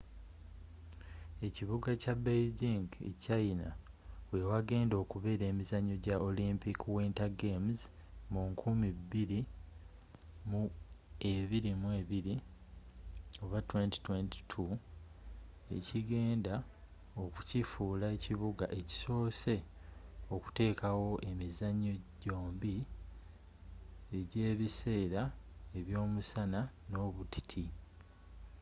ekibuga kya beijing e china we wagenda okubeera emizannyo gya olympic winter games mu 2022 ekigenda okukifuula ekibuga ekisose okutekawo emizannyo gyombi egya ebiseera eby'omusana n'obutiti